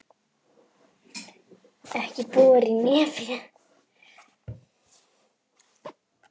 Ekki bora í nefið!